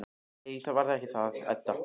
Nei, það var ekki það, Edda.